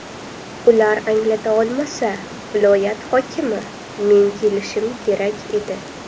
Ular anglata olmasa, viloyat hokimi, men kelishim kerak edi.